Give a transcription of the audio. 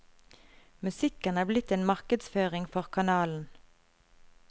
Musikken er blitt en markedsføring for kanalen.